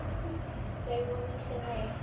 Þau voru sem eitt.